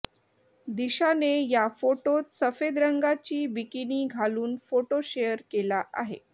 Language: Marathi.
दिशाने या फोटोत सफेद रंगाची बिकिनी घालून फोटो शेअर केला आहे